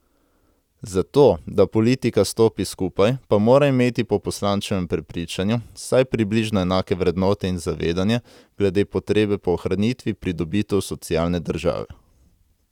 Za to, da politika stopi skupaj, pa mora imeti po poslančevem prepričanju vsaj približno enake vrednote in zavedanje glede potrebe po ohranitvi pridobitev socialne države.